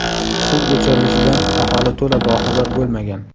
Suv o‘chirilishidan aholi to‘la boxabar bo‘lmagan.